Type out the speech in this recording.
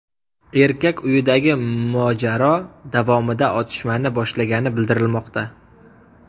Erkak uyidagi mojaro davomida otishmani boshlagani bildirilmoqda.